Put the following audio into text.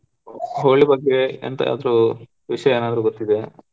Holi ಬಗ್ಗೆ ಎಂತ ಆದ್ರು ವಿಷಯ ಏನಾದ್ರು ಗೊತ್ತಿದೆಯ?